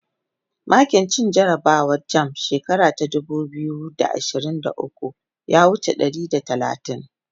makin cin jarabawan jamb shekara ta dubu biyu da ashirin da ukwu ya wuce ɗari da talatin